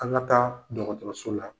An ka taa dɔgɔtɔrɔso la.